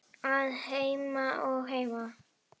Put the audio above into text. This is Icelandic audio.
Að heiman og heim.